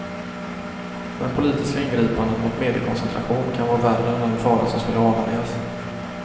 Men politiska ingripanden mot mediekoncentration kan vara värre än den fara som skulle avvärjas.